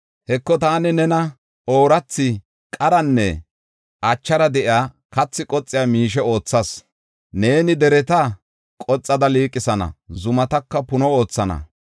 Heko, taani nena oorathi, qaranne achara de7iya, kathi qoxiya miishe oothas. Neeni dereta qoxada liiqisana; zumataka puno oothana.